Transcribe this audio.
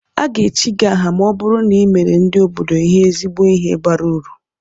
Aga-echi gị aha ma ọ bụrụ na i meere ndị obodo ihe ezigbo ihe bara uru